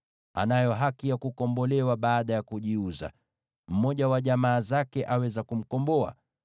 anayo haki ya kukombolewa baada ya kujiuza. Mmoja wa jamaa zake aweza kumkomboa: